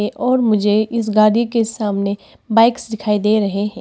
और मुझे इस गाड़ी के सामने बाइक्स दिखाई दे रहे हैं।